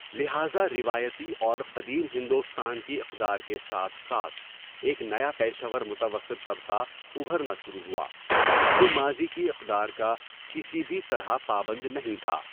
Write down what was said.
لہٰذا، روایتی اور قدیم ہندوستان کی اقدار کے ساتھ ساتھ، ایک نیا پیشہ ور متوسط طبقہ ابھرنا شروع ہوا، جو ماضی کی اقدار کا کسی بھی طرح پابند نہیں تھا۔